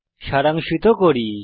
সারাংশিত করি